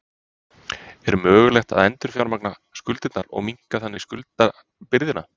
Er mögulegt að endurfjármagna skuldirnar og minnka þannig skuldabyrðina?